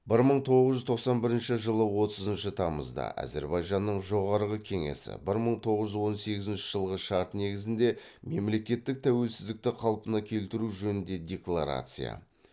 бір мың тоғыз жүз тоқсан бірінші жылы отызыншы тамызда әзірбайжанның жоғарғы кеңесі бір мың тоғыз жүз он сегізінші жылғы шарт негізінде мемлекеттік тәуелсіздікті қалпына келтіру жөнінде декларация